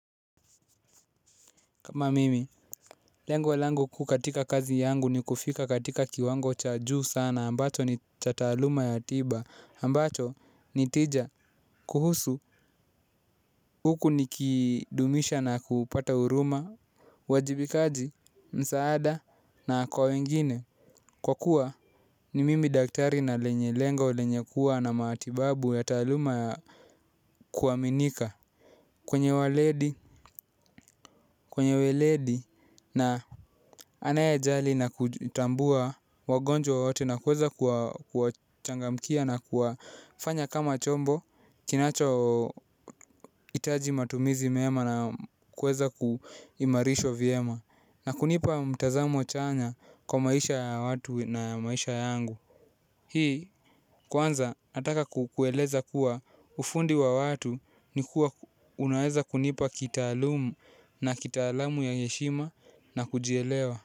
Kama mimi, lengo langu kuu katika kazi yangu ni kufika katika kiwango cha juu sana ambacho ni cha taaluma ya tija ambacho ni tija kuhusu huku nikidumisha na kupata huruma uwajibikaji msaada na kwa wengine kwa kuwa ni mimi daktari na lenye lengo lenye kuwa na matibabu ya taaluma ya kuaminika. Kwenye weledi na anayejali na kutambua wagonjwa wote na kuweza kuwachangamkia na kuwafanya kama chombo kinacho hitaji matumizi mema na kuweza kuimarishwa vyema. Na kunipa mtazamo chanya kwa maisha ya watu na maisha yangu. Hii kwanza nataka kukueleza kuwa ufundi wa watu ni kuwa unaweza kunipa kitaalumu na kitaalamu ya heshima na kujielewa.